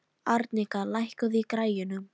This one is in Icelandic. Arnika, lækkaðu í græjunum.